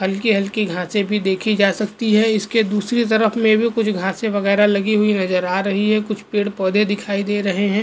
हलकी हलकी घासे भी देखि जा सकती है इसके दूसरी तरफ में भी कुछ घासे वगेरा लगी हुई नज़र आ रही है कुछ पेड़ पौधे दिखाई दे रहे है।